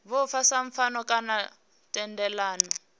vhofha sa pfano kana thendelano